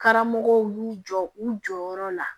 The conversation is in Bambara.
Karamɔgɔw y'u jɔ u jɔyɔrɔ la